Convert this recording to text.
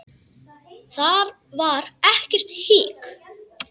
Þar var ekkert hik.